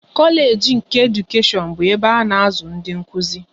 Kolage nke Edukashion bụ ebe a na-azụ ndị Nkụzi